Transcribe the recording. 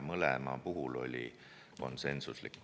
Mõlemal puhul oli otsus konsensuslik.